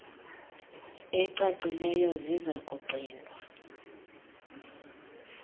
ecacileyo ziza kugcinwa